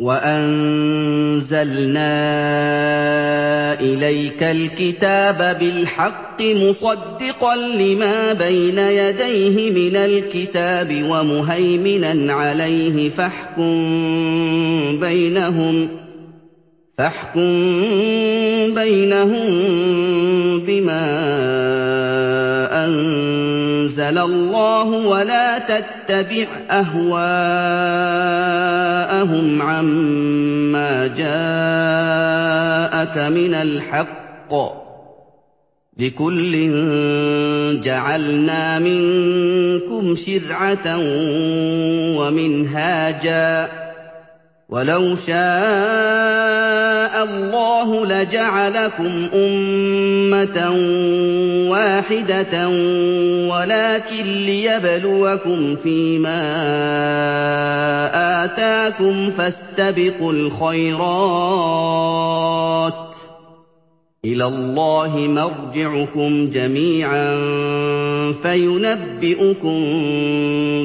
وَأَنزَلْنَا إِلَيْكَ الْكِتَابَ بِالْحَقِّ مُصَدِّقًا لِّمَا بَيْنَ يَدَيْهِ مِنَ الْكِتَابِ وَمُهَيْمِنًا عَلَيْهِ ۖ فَاحْكُم بَيْنَهُم بِمَا أَنزَلَ اللَّهُ ۖ وَلَا تَتَّبِعْ أَهْوَاءَهُمْ عَمَّا جَاءَكَ مِنَ الْحَقِّ ۚ لِكُلٍّ جَعَلْنَا مِنكُمْ شِرْعَةً وَمِنْهَاجًا ۚ وَلَوْ شَاءَ اللَّهُ لَجَعَلَكُمْ أُمَّةً وَاحِدَةً وَلَٰكِن لِّيَبْلُوَكُمْ فِي مَا آتَاكُمْ ۖ فَاسْتَبِقُوا الْخَيْرَاتِ ۚ إِلَى اللَّهِ مَرْجِعُكُمْ جَمِيعًا فَيُنَبِّئُكُم